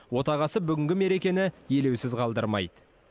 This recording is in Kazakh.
отағасы бүгінгі мерекені елеусіз қалдырмайды